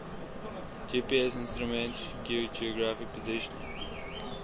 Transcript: gpsinstrument geographic positioning